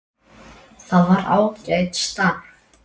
Það var ágætt starf.